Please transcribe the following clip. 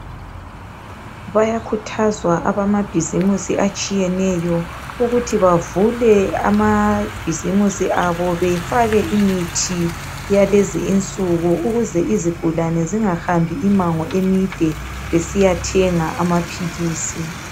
Bayakhuthazwa abamabhizimusi atshiyeneyo ukuthi bavule amabhizimusi abo befake imithi yalezi insuku ukuze izigulane zingahambi immango emide besiyathenga amaphilisi.